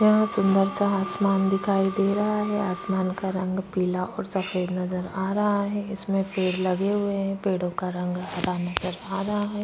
यहाँ सुंदर सा आसमान दिखाई दे रहा है आसमान का रंग पीला और सफेद नजर आ रहा है इसमें पेड़ लगे हुए हैं पेड़ों का रंग हरा नजर आ रहा है।